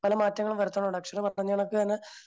പല മാറ്റങ്ങളും വരുത്തുന്നുണ്ട് അച്ഛനും അത്തരത്തിൽ തന്നെ